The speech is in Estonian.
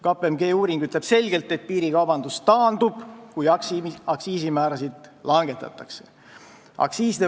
KPMG uuring ütleb selgelt, et piirikaubandus taandub, kui aktsiisimäärasid langetatakse.